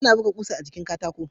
Ana buga kusa a jikin Katako